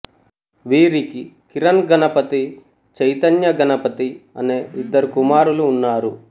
వీరికి కిరణ్ గణపతి చైతన్య గణపతి అనే ఇద్దరు కుమారులు ఉన్నారు